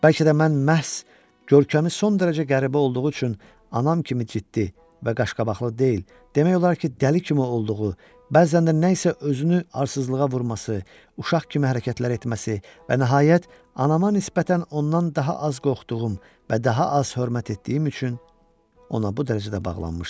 Bəlkə də mən məhz görkəmi son dərəcə qəribə olduğu üçün, anam kimi ciddi və qaşqabaqlı deyil, demək olar ki, dəli kimi olduğu, bəzən də nəyisə özünü arsızlığa vurması, uşaq kimi hərəkətlər etməsi və nəhayət, anama nisbətən ondan daha az qorxduğum və daha az hörmət etdiyim üçün ona bu dərəcədə bağlanmışdım.